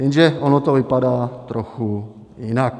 Jenže ono to vypadá trochu jinak.